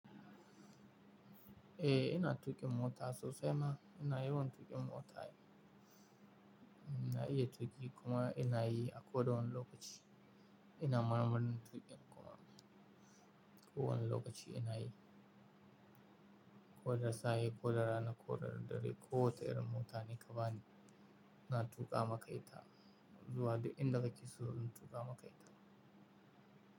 Eh, ina tuƙin mota sosai ma. Ina yawan tuƙin mota. Ina iya tuƙi kuma ina yi a kodawane lokaci. Ina marmarin tuƙin kuma. Ko wane lokaci ina yi. Ko da safe, ko da rana, ko da dare, ko wata irin mota, ni ka bani, ina tuƙa maka ita. Zuwa duk inda kake so, zan tuƙa maka ita.